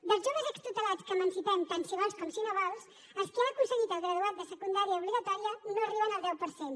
dels joves extutelats que emancipem tant si vols com si no vols els qui han aconseguit el graduat de secundària obligatòria no arriben al deu per cent